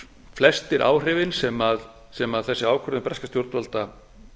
flestir áhrifin sem þessi ákvörðun breskra stjórnvalda